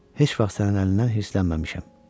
Heç vaxt sənin əlindən hirslənməmişəm.